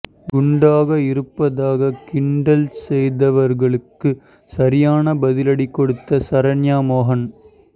குண்டாக இருப்பதாக கிண்டல் செய்தவர்களுக்கு சரியான பதிலடி கொடுத்த சரண்யா மோகன்